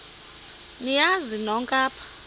niyazi nonk apha